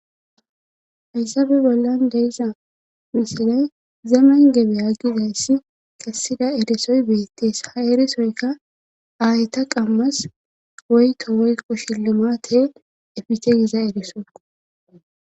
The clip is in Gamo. haysabe bollan de'iza misiley zamen gebe a gizayssi kessida edesoy beettees ha eresoyka aayta qammas woyto woykko shillimate efiche giza ediso